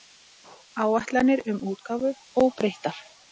Áætlanir um útgáfu óbreyttar